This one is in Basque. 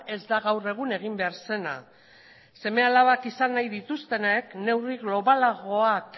ez da gaur egun egin behar zena seme alabak izan nahi dituztenek neurri globalagoak